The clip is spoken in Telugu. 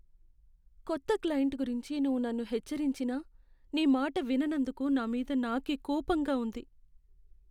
కొత్త క్లయింట్ గురించి నువ్వు నన్ను హెచ్చరించినా నీ మాట విననందుకు నా మీద నాకే కోపంగా ఉంది.